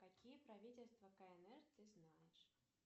какие правительства кнр ты знаешь